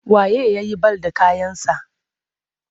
Wa ye ya yi bal da kayansa?